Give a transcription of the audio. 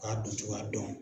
K'a doncogoya dɔn.